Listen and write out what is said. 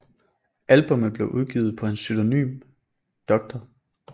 Albummet blev udgivet under hans pseudonym Dr